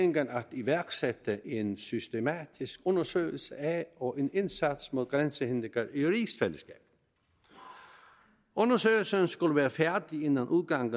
iværksætte en systematisk undersøgelse af og en indsats mod grænsehindringer i rigsfællesskabet undersøgelsen skulle være færdig inden udgangen